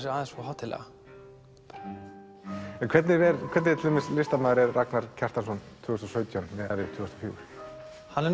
sig aðeins of hátíðlega hvernig listamaður er Ragnar Kjartansson tvö þúsund og sautján miðað við tvö þúsund og fjögur hann er